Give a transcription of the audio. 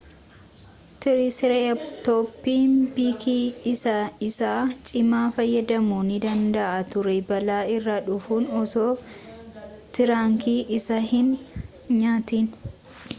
triceratoponni bikii isaa isa cimaa fayyadamuu ni danda'a ture baala irraa fudhuun osoo tirankii isaa hin nyaatin